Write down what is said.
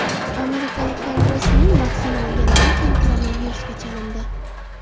Amerikalik kongressmen vaksina olganidan keyin koronavirusga chalindi.